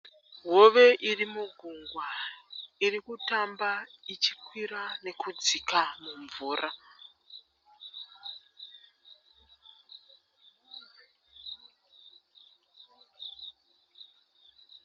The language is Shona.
Hove iri mugungwa. Iri kutamba ichi kwira nekudzika mumvura.